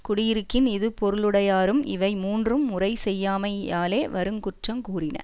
குடியிருக்கின் இது பொருளுடையாரும் இவை மூன்றும் முறை செய்யாமை யாலே வரு குற்றங் கூறின